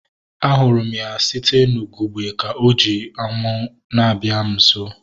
A hụrụ m ya site n'ugegbe ka ọ ji amu na-abịa m nso